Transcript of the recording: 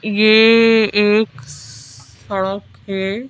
ये एक सड़क है।